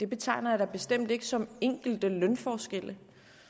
betegner jeg da bestemt ikke som enkelte lønforskelle